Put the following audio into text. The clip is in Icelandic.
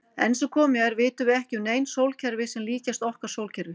Enn sem komið er vitum við ekki um nein sólkerfi sem líkjast okkar sólkerfi.